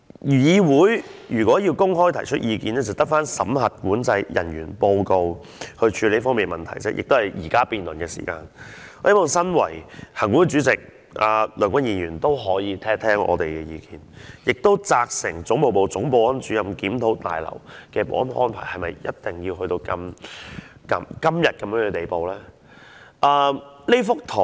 議員如果想公開提出意見，便只有透過審核管制人員報告來處理這方面的問題，亦是透過現時辯論的時間提出；而行管會主席梁君彥議員也可以聽聽我們的意見，責成總務部總保安主任，檢討大樓的保安安排是否一定要做到今天的地步。